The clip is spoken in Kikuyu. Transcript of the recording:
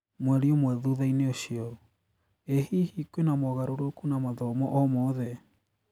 Mweri ũmwe thutha-inĩ ũcio: ĩ hihi kwĩna mogarũrũku na mathomo o mothe?